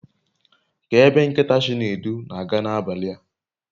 Kee ebe nkita Chinedu n'aga nabali a